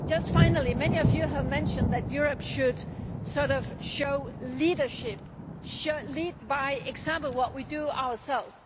out. Finally, many of you have mentioned that Europe should show leadership should lead by example through what we do ourselves.